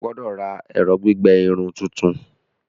O gbọdọ ra ẹrọ gbigbẹ irun tuntun!